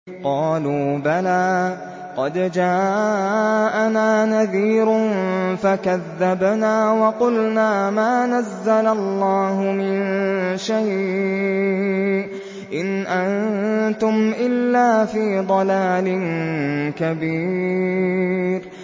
قَالُوا بَلَىٰ قَدْ جَاءَنَا نَذِيرٌ فَكَذَّبْنَا وَقُلْنَا مَا نَزَّلَ اللَّهُ مِن شَيْءٍ إِنْ أَنتُمْ إِلَّا فِي ضَلَالٍ كَبِيرٍ